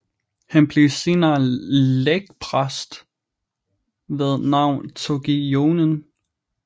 Han blev senere lægpræst ved navn Toki Jonin